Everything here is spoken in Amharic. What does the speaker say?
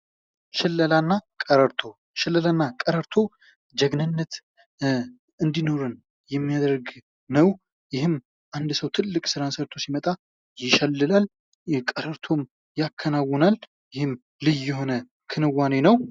ሽለላ እና ቀረርቶ ሸለላ እና ቀረርቶ ጀግንነት እንዲኖረን የሚያደርግ ነው። ይህም አንድ ሰው ስራ ሰርቶ ሲመጣ ይሸላል። ቀረእቶን ያከናዉናል ይህም የሆን ክንዋኔ ነው።